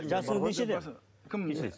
жасыңыз нешеде кім нешеде